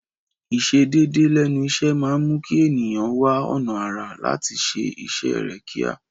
Ìsẹ déédéé lẹ́nu iṣẹ́ máa mú kí ẹ̀nìyàn wá ọ̀nà àrà láti ṣé iṣẹ́ rẹ̀ kíá.